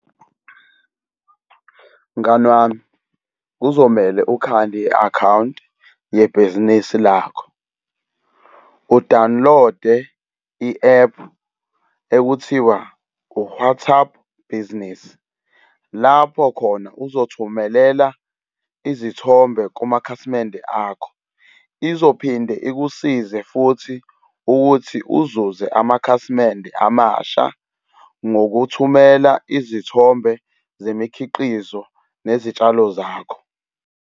Mngani wami, kuzomele ukhande i-akhawunti yebhizinisi lakho. U-download-e i-ephu ekuthiwa u-WhatsApp Business. Lapho khona uzothumelela izithombe kumakhasimende akho izophinde ikusize futhi ukuthi uzuze amakhasimende amasha ngokuthumela izithombe zemikhiqizo nezitshalo zakho.